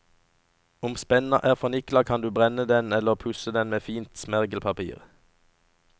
Om spenna er fornikla, kan du brenne den eller pusse den med fint smergelpapir.